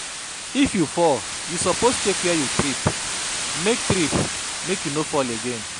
If you fall, you suppose check where you trip, make trip, make you no fall again.